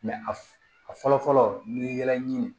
a fɔlɔ fɔlɔ n'i ye ɲini